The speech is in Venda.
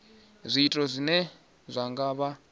zwiito zwine zwa nga vha